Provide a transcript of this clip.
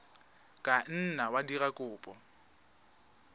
ka nna wa dira kopo